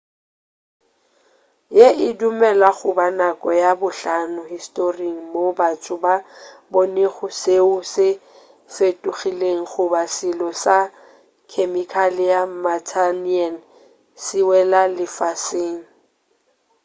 ye e dumelwa goba nako ya bohlano historing moo batho ba bonego soe se fetogilego goba selo sa khemikale ya martian se wela lefaseng